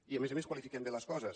i a més a més qualifiquem bé les coses